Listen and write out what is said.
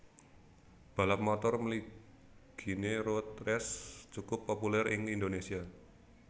Balap motor mliginé road race cukup populèr ing Indonésia